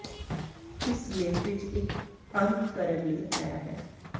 ਇਸ ਲੇਖ ਵਿਚ ਇੱਕ ਅੰਤ ਕਰਨ ਲਈ ਆਇਆ ਹੈ